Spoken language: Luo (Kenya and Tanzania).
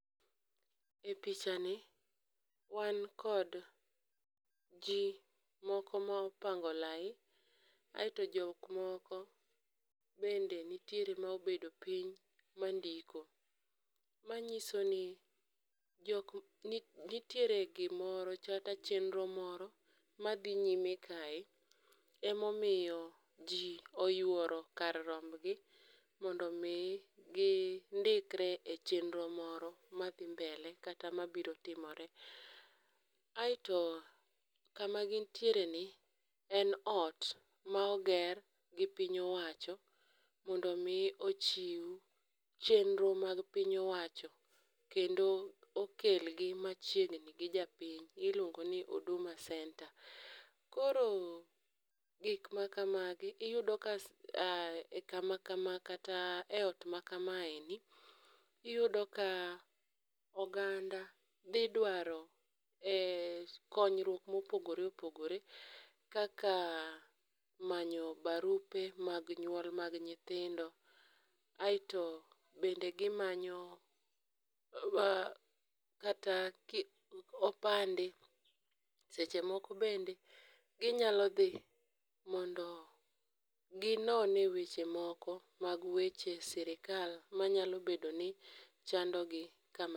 Epichani wan kod ji moko ma opango lai aeto jok moko bende nitiere mobedo piny mandiko. Manyiso ni jok ni nitiere gimoro kata chenro moro madhi nyime kae ema omomiyo ji oyuoro kar romb gi mondo mi gindikre e chenro moro madhi mbele kata mabiro timore. Aeto to kama gintiereni en ot maoger gi piny owacho mondo mi ochiw chenro mag piny owacho kendo okel gi machiegi gi japiny iluongo ni Huduma Centre. Koro gik makamagi iyudo ka kama kama kata eot maka maendi iyudo ka oganda dhi dwaro e konyruok ma opogore opogore kaka manyo barupe mag nyuol mag nyithindo aeto bende gimanyo kata opande seche moko bende ginyalo dhi mondo ginone weche moko mag weche sirkal manyalo bedo ni chandogi kam